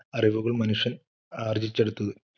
അറിവുകൾ മനുഷ്യൻ ആർജിച്ചെടുത്തത്.